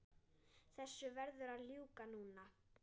Þessu verður að ljúka núna